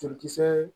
Furukisɛ